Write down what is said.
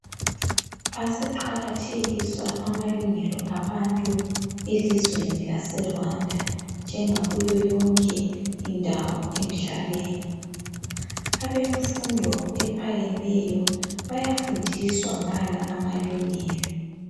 Aseqakathekiswa amalungelo abantu elizweni laseRwanda njengakuyo yonke indawo emhlabeni. Abemfundo ephakemeyo bayafundiswa ngala amalungelo.